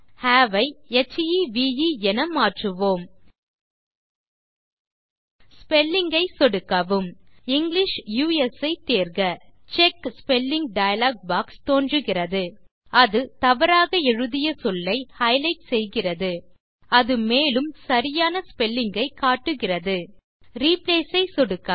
have ஐ ஹெவ் என மாற்றுவோம் ஸ்பெல்லிங் ஐ சொடுக்கவும் இங்கிலிஷ் யுஎஸ் ஐ தேர்க செக் ஸ்பெல்லிங் டயலாக் பாக்ஸ் தோன்றுகிறது அது தவறாக எழுதிய சொல்லை ஹைலைட் செய்கிறது அது மேலும் சரியான ஸ்பெல்லிங் ஐ காட்டுகிறதுReplace ஐ சொடுக்கவும்